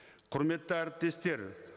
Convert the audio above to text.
құрметті әріптестер